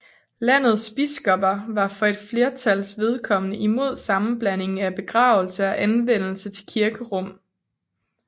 Landets biskopper var for et flertals vedkommende imod sammenblanding af begravelse og anvendelse til kirkerum